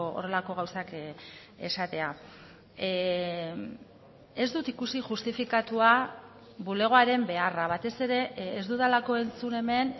horrelako gauzak esatea ez dut ikusi justifikatua bulegoaren beharra batez ere ez dudalako entzun hemen